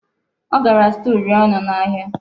Ọ gara zụta uli ọnụ n'ahịa.